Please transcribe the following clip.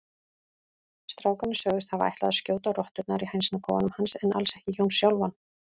Strákarnir sögðust hafa ætlað að skjóta rotturnar í hænsnakofanum hans en alls ekki Jón sjálfan.